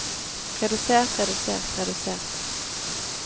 redusert redusert redusert